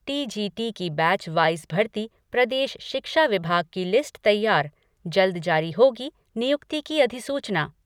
T G T की batch wise भर्ती, प्रदेश शिक्षा विभाग की लिस्ट तैयार, जल्द जारी होगी नियुक्ति की अधिसूचना।